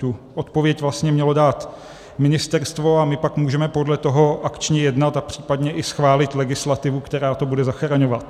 Tu odpověď vlastně mělo dát ministerstvo, a my pak můžeme podle toho akčně jednat a případně i schválit legislativu, která to bude zachraňovat.